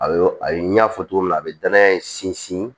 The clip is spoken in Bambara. A ye a ye n y'a fɔ cogo min na a bɛ danaya in sinsin